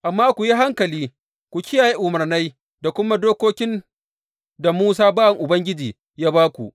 Amma ku yi hankali, ku kiyaye umarnai da kuma dokokin da Musa bawan Ubangiji ya ba ku.